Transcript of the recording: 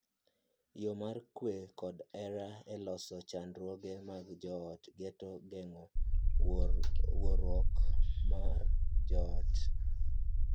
Yoo mar kwe kod hera e loso chandruoge mag joot geto geng’o wuoruok mar joot.